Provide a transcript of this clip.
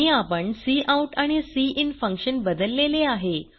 आणि आपण काउट आणि सिन फंक्शन बदललेले आहे